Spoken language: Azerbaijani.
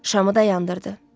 Şamı da yandırdı.